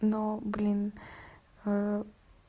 но блин